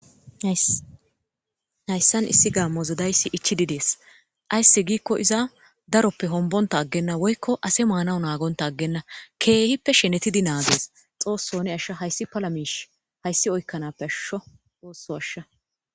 haysan issi gamoza dayisi ichidi desese aysi gikko iza daroppe honbota agena woyko ase manaw nagonta agena kehipe shenetidi nagese xosso ne asha haysi pala mishi haysi oykanappe asho xosso asha